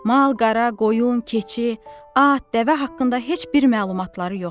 Mal-qara, qoyun, keçi, at, dəvə haqqında heç bir məlumatları yoxdur.